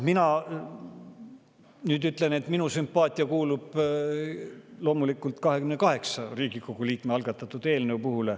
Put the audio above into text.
Mina nüüd ütlen, et minu sümpaatia kuulub loomulikult 28 Riigikogu liikme algatatud eelnõule.